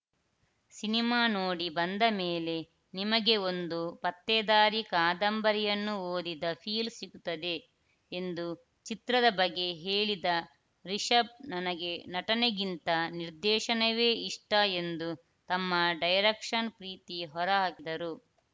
cinema ನೋಡಿ ಬಂದಮೇಲೆ ನಿಮಗೆ ಒಂದು ಪತ್ತೆದಾರಿ ಕಾದಂಬರಿಯನ್ನು ಓದಿದ ಫೀಲ್‌ ಸಿಕ್ಕುತ್ತದೆ ಎಂದು ಚಿತ್ರದ ಬಗ್ಗೆ ಹೇಳಿದ ರಿಷಬ್‌ ನನಗೆ ನಟನೆಗಿಂತ ನಿರ್ದೇಶನವೇ ಇಷ್ಟ ಎಂದು ತಮ್ಮ ಡೈರಕ್ಷನ್‌ ಪ್ರೀತಿ ಹೊರಹಾಕಿದರು